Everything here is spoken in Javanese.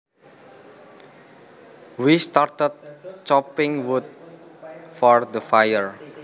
We started chopping wood for the fire